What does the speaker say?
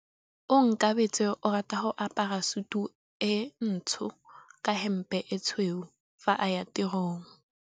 Onkabetse o rata go apara sutu e ntsho ka hempe e tshweu fa a ya tirong.